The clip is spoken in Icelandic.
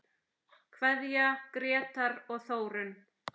Kveðja, Grétar og Þórunn.